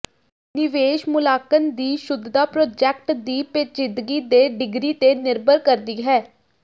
ਨਿਵੇਸ਼ ਮੁਲਾਂਕਣ ਦੀ ਸ਼ੁੱਧਤਾ ਪ੍ਰੋਜੈਕਟ ਦੀ ਪੇਚੀਦਗੀ ਦੇ ਡਿਗਰੀ ਤੇ ਨਿਰਭਰ ਕਰਦੀ ਹੈ